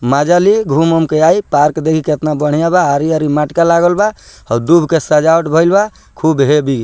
मजा ले घुम-उम के आई पार्क देखी केतना बढ़िया बा आरी-आरी मटका लागल बा अउ दुब के सजावट भइल बा खुब हैवी --